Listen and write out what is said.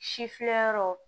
Si fiyɛ yɔrɔ